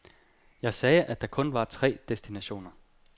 Jeg sagde, at der kun var tre destinationer.